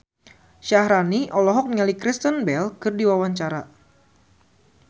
Syaharani olohok ningali Kristen Bell keur diwawancara